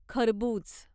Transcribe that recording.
खरबुज